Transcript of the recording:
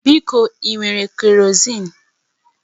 Biko ị nwere kerọzin?